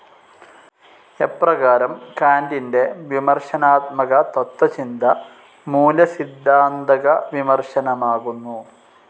എപ്രകാരം കാൻ്റിൻ്റെ വിമർശനാത്മക തത്വചിന്ത മൂല്യസിദ്ധാന്തക വിമർശനമാകുന്നു.